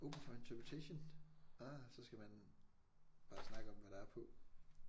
Open for interpretation ah så skal man bare snakke om hvad der er på